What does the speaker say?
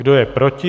Kdo je proti?